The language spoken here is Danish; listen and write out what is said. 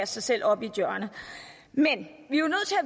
sig selv op i et hjørne men